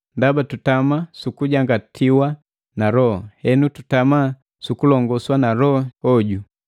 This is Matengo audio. Ndaba tutama sukujangatiwa na Loho, henu tutama sukulongoswa na Loho hoju.